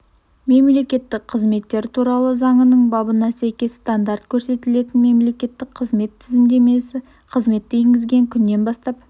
мемлекеттік қызметтер туралы заңының бабына сәйкес стандарт көрсетілетін мемлекеттік қызмет тізімдемесіне қызметті енгізген күннен бастап